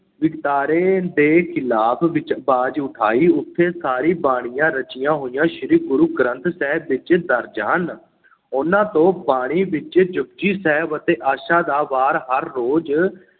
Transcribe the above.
ਵਿਤਕਰੇ ਦੇ ਖਿਲਾਫ਼ ਵਿੱਚ ਆਵਾਜ਼ ਉਠਾਈ ਉੱਥੇ ਸਾਰੀ ਬਾਣੀਆਂ ਰਚੀਆਂ ਹੋਈਆਂ ਸ੍ਰੀ ਗੁਰੂ ਗ੍ਰੰਥ ਸਾਹਿਬ ਵਿੱਚ ਦਰਜ ਹਨ ਉਹਨਾਂ ਤੋਂ ਬਾਣੀ ਵਿੱਚੋਂ ‘ਜਪੁਜੀ ਸਾਹਿਬ ਅਤੇ ਆਸਾ ਦੀ ਵਾਰ ਹਰ ਰੋਜ਼